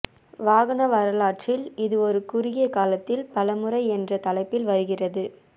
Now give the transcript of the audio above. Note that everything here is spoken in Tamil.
வாகன வரலாற்றில் இது ஒரு குறுகிய காலத்தில் பல முறை என்ற தலைப்பில் வருகிறது